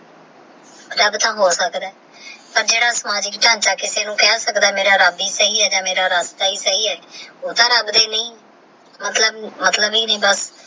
ਰੱਬ ਤਹ ਹੋ ਸਕਦਾ ਹੈ ਪਰ ਜੇਦਾ ਅਮਜ ਏਕ ਜਾਨ ਚ ਕਿਸੀ ਨੂ ਕੇ ਸਕਦਾ ਹੈ ਮੇਰਾ ਰੱਬ ਦਾ ਸਹੀ ਆਹ ਓਹ ਤਹ ਰਾਬ੍ਦਾ ਹੀ ਨਹੀ ਮਤਲਬ ਇਹ ਨੀ ਕੀ